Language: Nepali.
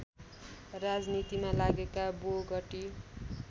राजनीतिमा लागेका बोगटी